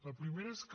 la primera és que